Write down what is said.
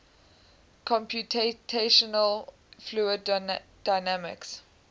computational fluid dynamics